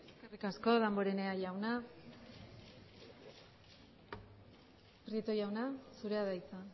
eskerrik asko damborenea jauna prieto jauna zurea da hitza